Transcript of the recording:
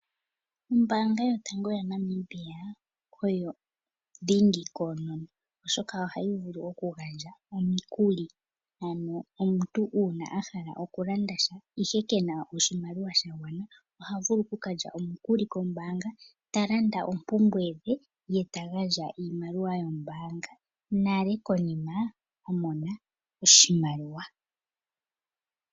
Ombaanga yotango yaNamibia oyo dhingi konono oshoka ohayi vulu okugandja omiikuli, ano una omuntu ahala okulanda sha ihe kena oshimaliwa shagwana ohavulu okukalya omukuli kombaanga talanda oompumbwe dhe ye ta gaandja iimaliwa yombaanga nale konima amona oshimimaliwa.